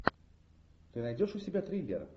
ты найдешь у себя триллер